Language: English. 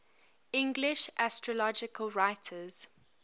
english astrological writers